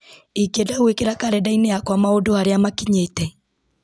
ingĩenda gwĩkĩra karenda-inĩ yakwa maũndũ harĩa makinyĩte